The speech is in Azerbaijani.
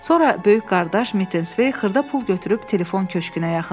Sonra böyük qardaş xırda pul götürüb telefon köşkünə yaxınlaşdı.